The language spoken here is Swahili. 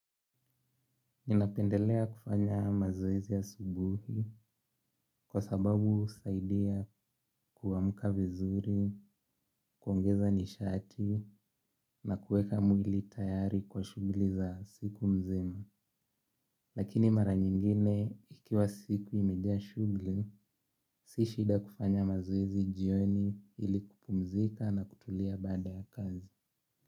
Ninapendelea kufanya mazoezi ya asubuhi kwa sababu husaidia kuamka vizuri, kuongeza nishati na kueka mwili tayari kwa shughuli za siku mzima. Lakini mara nyingine ikiwa siku imejaa shughuli, si shida kufanya mazoezi jioni ili kupumzika na kutulia baada ya kazi.